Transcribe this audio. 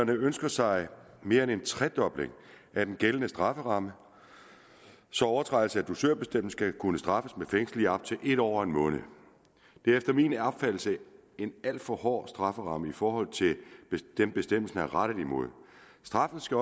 ønsker sig mere end en tredobling af den gældende strafferamme så overtrædelse af dusørbestemmelsen skal kunne straffes med fængsel i op til en år og en måned det er efter min opfattelse en alt for hård strafferamme i forhold til hvad bestemmelsen er rettet mod straffen skal